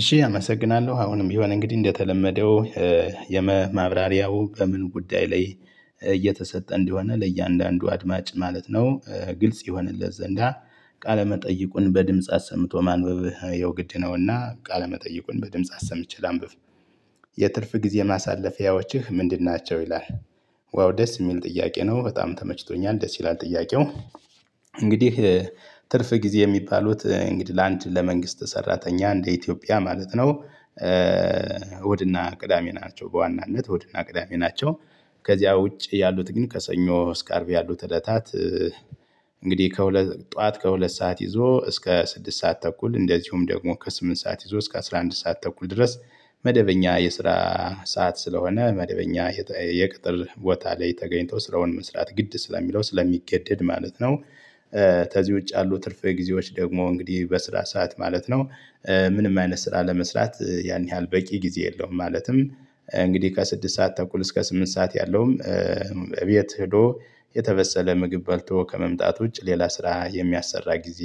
እሺ አመሰግናለሁ አሁንም የሆነ እንግዲህ እንደተለመደው የመ ማብራሪያው በምን ጉዳይ ላይ እየተሰጠ እንዲሆነ ለእያንዳንዱ አድማጭ ማለት ነው ግልጽ ይሆንለት ዘንዳ ቃለመጠይቁን በድምጽ አሰምቶ ማንበብ የው ግድ ነውና ቃለመጠይቁን በድምጽ አሰምቼ ላንብብ። የትርፍ ጊዜ ማሳለፊያዎችህ ምንድን ናቸው? ይላል ዋው ደስ የሚል ጥያቄ ነው በጣም ተመችቶኛል ደስ ይላል ጥያቄው። እንግዲህ ትርፍ ጊዜ የሚባሉት እንግዲህ ለአንድ ለመንግስት ሰራተኛ እንደ ኢትዮጵያ ማለት ነው። እሁድና ቅዳሜ ናቸው በዋናነት ወድና ቅዳሜ ናቸው። ከዚያ ውጪ ያሉት ግን ከሰኞ እስከ አርብ ያሉት ዕለታት። እንግዲህ ከሁለት ጠዋት ከሁለት ሰዓት ይዞ እስከ ስድስት ሰዓት ተኩል እንደዚሁም ደግሞ ከስምንት ሰዓት ይዞ እስከ አስራ አንድ ሰዓት ተኩል ድረስ መደበኛ የስራ ሰዓት ስለሆነ መደበኛ የቅጥር ቦታ ላይ ተገኝቶ ስራውን መስራት ግድ ስለሚለው ስለሚገደድ ማለት ነው። ተዚህ ውጭ ያአሉ ትርፍ ጊዜዎች ደግሞ እንግዲህ በስራ ሰዓት ማለት ነው። ምንም አይነት ስራ ለመስራት ያን ያህል በቂ ጊዜ የለውም። ማለትም እንግዲህ ከስድስት ሰዓት ተኩል እስከ ስምንት ሰዓት ያለውም እቤት ሄዶ የተበሰለ ምግብ በልቶ ከመምጣት ውጭ ሌላ ስራ የሚያሰራ ጊዜ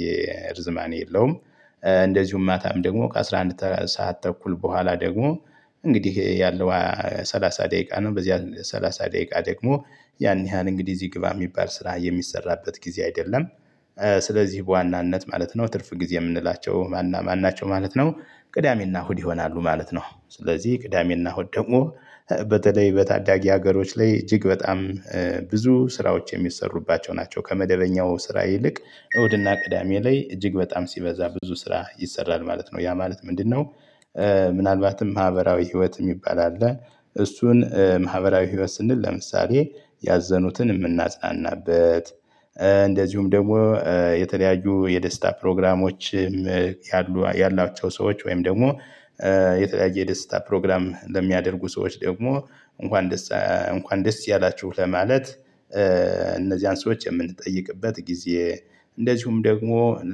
ርዝማኔ የለውም። እንደዚሁም ማታም ደግሞ ከአሥራ አንድ ሰዓት ተኩል በኋላ ደግሞ እንግዲህ ያለው ሰላሳ ደቂቃ ነው በዚህ ሰላሳ ደቂቃ ደግሞ ያን ያህል እንግዲህ እዚህ ግባ የሚባል ስራ የሚሰራበት ጊዜ አይደለም። ስለዚህ በዋናነት ማለት ነው ትርፍ ጊዜ የምንላቸው ማንና ማናቸው ማለት ነው። ቅዳሜና እሁድ ይሆናሉ ማለት ነው። ስለዚህ ቅዳሜና ሁድ ደግሞ በተለይ በታዳጊ ሀገሮች ላይ እጅግ በጣም ብዙ ስራዎች የሚሰሩባቸው ናቸው ከመደበኛው ስራ ይልቅ እሁድና ቅዳሜ ላይ እጅግ በጣም ሲበዛ ብዙ ስራ ይሰራል ማለት ነው ያ ማለት ምንድነው? ምናልባትም ማህበራዊ ህይወት የሚባል አለ። እሱን ማህበራዊ ህይወት ስንል ለምሳሌ ያዘኑትን የምናጽናናበት። እንደዚሁም ደግሞ የተለያዩ የደስታ ፕሮግራሞችም። ያሉ ያላቸው ሰዎች ወይም ደግሞ የተለያየ የደስታ ፕሮግራም ለሚያደርጉ ሰዎች ደግሞ እንኳን ደስ እንኳን ደስ ያላችሁ ለማለት። እነዚህን ሰዎች የምንጠይቅበት ጊዜ። እንደዚሁም ደግሞ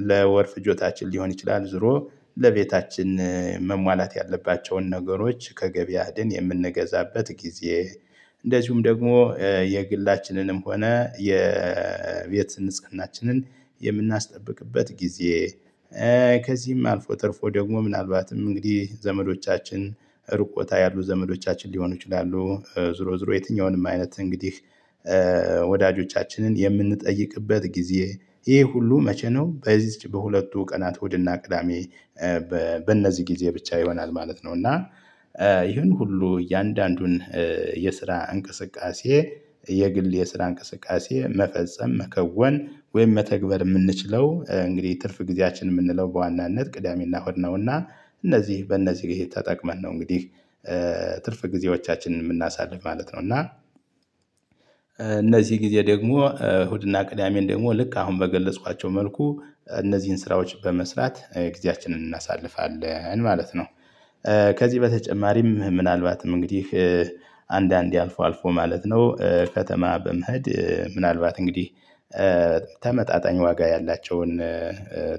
ለወር ፍጆታችን ሊሆን ይችላል። ዞሮ ለቤታችን መሟላት ያለባቸውን ነገሮች ከገበያ ሄድን የምንገዛበት ጊዜ። እንደዚሁም ደግሞ የግላችንንም ሆነ የቤት ንጽህናችንን የምናስጠብቅበት ጊዜ። ከዚህም አልፎ ትርፎ ደግሞ ምናልባትም እንግዲህ ዘመዶቻችን ሩቅ ቦታ ያሉ ዘመዶቻችን ሊሆኑ ይችላሉ። ዝሮ ዝሮ የትኛውንም አይነት እንግዲህ ወዳጆቻችንን የምንጠይቅበት ጊዜ። ይሄ ሁሉ መቼ ነው በዚህ በሁለቱ ቀናት ወደ እሁድና ቅዳሜ። በእነዚህ ጊዜ ብቻ ይሆናል ማለት ነው። እና ይህን ሁሉ እያንዳንዱን የስራ እንቅስቃሴ የግል የስራ እንቅስቃሴ መፈጸም መከወን ወይም መተግበር እምንችለው እንግዲህ ትርፍ ጊዜያችን የምንለው በዋናነት ቅዳሜና ሆድ ነውና። እነዚህ በእነዚህ ጋር የተጠቀመን ነው እንግዲህ። ትርፍ ጊዜዎቻችንን የምናሳልፍ ማለት ነው። እና እነዚህ ጊዜ ደግሞ እሁድና ቅዳሜን ደግሞ ልክ አሁን በገለጽኳቸው መልኩ እነዚህን ስራዎች በመስራት ጊዜያችንን እናሳልፋለን ማለት ነው። ከዚህ በተጨማሪም ምናልባትም እንግዲህ አንዳንዴ አልፎ አልፎ ማለት ነው ከተማ በመሄድ ምናልባት እንግዲህ ተመጣጣኝ ዋጋ ያላቸውን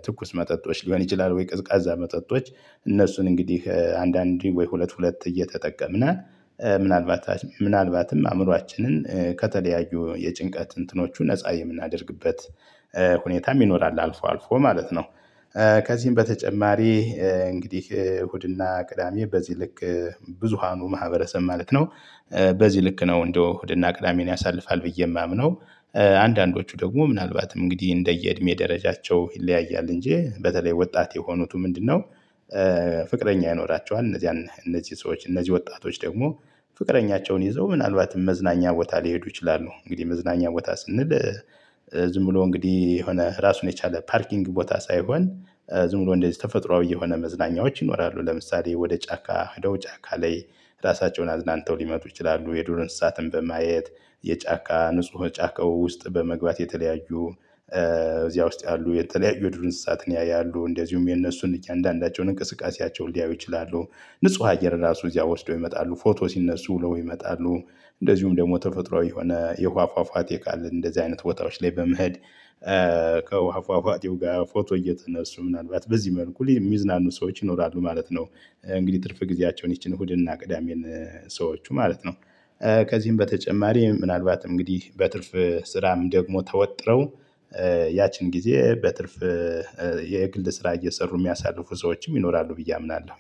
ትኩስ መጠጦች ሊሆን ይችላል። ወይ ቅዝቃዛ መጠጦች። እነሱን እንግዲህ አንዳንዴ ወይ ሁለት ሁለት እየተጠቀምነ ምናልባት ምናልባትም አእምሯችንን ከተለያዩ የጭንቀት እንትኖቹ ነፃ የምናደርግበት ሁኔታም ይኖራል አልፎ አልፎ ማለት ነው። ከዚህም በተጨማሪ እንግዲህ እሁድና ቅዳሜ በዚህ ልክ ብዙሃኑ ማህበረሰብ ማለት ነው። በዚህ ልክ ነው እንደ እሁድና ቅዳሜን ያሳልፋል ብዬ የማምነው። አንዳንዶቹ ደግሞ ምናልባትም እንግዲህ እንደየእድሜ ደረጃቸው ይለያያል እንጂ በተለይ ወጣት የሆኑት ምንድነው? ፍቅረኛ ይኖራቸዋል እነዚህ እነዚህ ሰዎች እነዚህ ወጣቶች ደግሞ ፍቅረኛቸውን ይዘው ምናልባትም መዝናኛ ቦታ ሊሄዱ ይችላሉ። እንግዲህ መዝናኛ ቦታ ስንል ዝም ብሎ እንግዲህ የሆነ ራሱን የቻለ ፓርኪንግ ቦታ ሳይሆን ዝም ብሎ እንደዚህ ተፈጥሮአዊ የሆኑ መዝናኛዎች ይኖራሉ። ለምሳሌ ወደ ጫካ ሄደው ጫካ ላይ ራሳቸውን አዝናንተው ሊመጡ ይችላሉ። የዱር እንስሳትን በማየት የጫካ ንጹህ ጫካው ውስጥ በመግባት የተለያዩ እዚያ ውስጥ ያሉ የተለያዩ ድርንሳት ያያሉ። እንደዚሁም የነሱን እያንዳንዳቸውን እንቅስቃሴያቸውን ሊያዩ ይችላሉ። ንጹህ አየር ራሱ እዚያ ወስደው ይመጣሉ ፎቶ ሲነሱ ለው ይመጣሉ። እንደዚሁም ደግሞ ተፈጥሮአዊ የሆነ የውሃ ፏፏቲ ካልን እንደዚህ አይነት ወጣዎች ላይ በመሄድ። ከውሃ ፏፊአቴው ጋር ፎቶ እየተነሱ ምናልባት በዚህ መልኩ የሚዝናኑ ሰዎች ይኖራሉ ማለት ነው። እንግዲህ ትርፍ ጊዜያቸውን ይቺን ሁድና ቅዳሜን ሰዎቹ ማለት ነው። ከዚህም በተጨማሪ ምናልባት እንግዲህ በትርፍ ስራም ደግሞ ተወጥረው ያቺን ጊዜ በትርፍ የግል ስራ እየሰሩ የሚያሳልፉ ሰዎችም ይኖራሉ ብዬ አምናለሁ